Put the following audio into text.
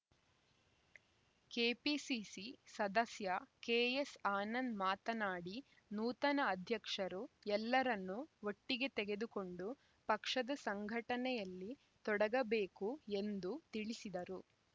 KPCC ಸದಸ್ಯ KS Anand ಮಾತನಾಡಿ ನೂತನ ಅಧ್ಯಕ್ಷರು ಎಲ್ಲರನ್ನು ಒಟ್ಟಿಗೆ ತೆಗೆದುಕೊಂಡು ಪಕ್ಷದ ಸಂಘಟನೆಯಲ್ಲಿ ತೊಡಗಬೇಕು ಎಂದು ತಿಳಿಸಿದರು